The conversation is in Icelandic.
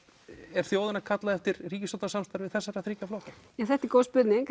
er þjóðin að kalla eftir ríkisstjórnarsamstarfi þessa þrjá flokka þetta er góð spurning